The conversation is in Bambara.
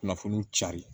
Kunnafoniw cari